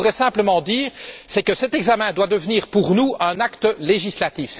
Ce que je voudrais simplement dire, c'est que cet examen doit devenir pour nous un acte législatif.